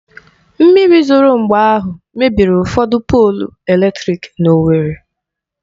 Mmiri zoro mgbe ahụ mebiri ụfọdụ polụ eletrịk n'Owerri